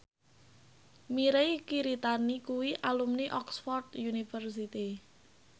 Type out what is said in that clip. Mirei Kiritani kuwi alumni Oxford university